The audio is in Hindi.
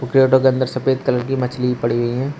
क्रेटों के अंदर सफेद कलर की मछली पड़ी हुई हैं।